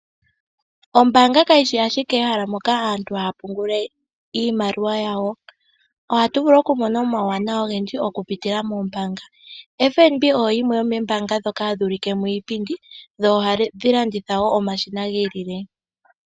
Ombaanga kayishi ike ehala moka aantu haavulu oku pungula iimaliwa yawo. Ohatu vulu oku mona omawuwanawa ogendji oku pitila moombaanga. FNB oyo yimwe yomoombaanga hayi ulike iipindi dho ohadhi landitha omashina giilile.